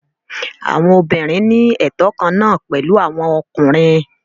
Àwọn obìnrin ní ẹtọ kan náà pẹ̀lú àwọn ọkùnrin.